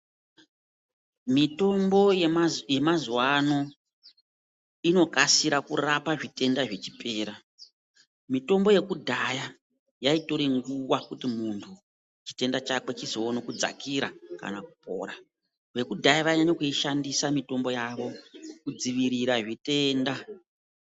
Mitombo yemazuva inokasira kurapa zvitenda zvichipera mitombo yekudhaya yaitora nguwa kuti munhu chitenda chake chizoona kudzakira kana kupora vekudhaya vainyanya kuishandisa mitombo yawo kudzivirira zvitenda.